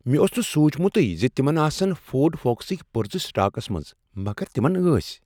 مےٚ اوس نہٕ سونٛچمتٕے زِ تِمن آسَن فورڈ فوکسٕکۍ پُرزٕ سٹاكس منز مگر تمن ٲسۍ۔